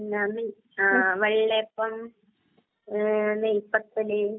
വെള്ളയപ്പം, നെയ്പത്തല്,